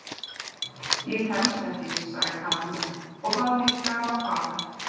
Ég kemst ekki sagði Kamilla og bað Nikka um að fara.